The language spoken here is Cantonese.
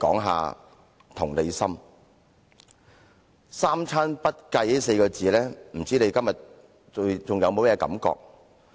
對於"三餐不繼"這4個字，我不知道他今天還有甚麼感覺。